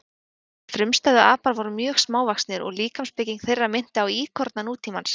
Þessir frumstæðu apar voru mjög smávaxnir og líkamsbygging þeirra minnti á íkorna nútímans.